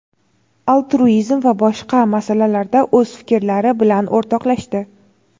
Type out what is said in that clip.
altruizm va boshqa masalalarda o‘z fikrlari bilan o‘rtoqlashdi.